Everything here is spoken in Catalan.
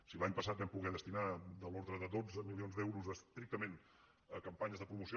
si l’any passat vam poder destinar de l’ordre de dotze milions d’euros estrictament a campanyes de pro·moció